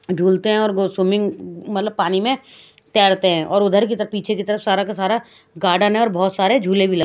दुलते है और go swimming मतलब पानी में टहरते है और उधर की तरा पीछे की तरफ सारा के सारा गार्डन है और बहत सारा झूले भी लगे है।